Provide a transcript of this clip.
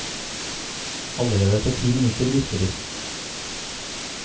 Allerede etter ti minutter virker de.